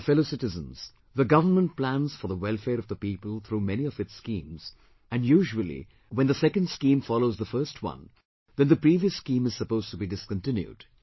My fellow citizens, the government plans for the welfare of the people through many of its schemes, and usually when the second scheme follows the first one then the previous scheme is supposed to be discontinued